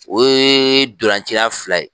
O ye dolanci la fila ye.